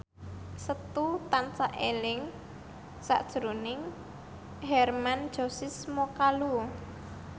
Setu tansah eling sakjroning Hermann Josis Mokalu